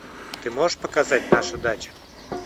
ты можешь показать наша дача